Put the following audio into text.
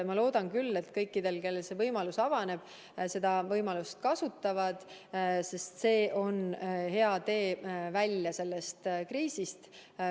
Ma loodan küll, et kõik, kellel võimalus avaneb, seda võimalust kasutavad, sest see on hea tee kriisist väljumiseks.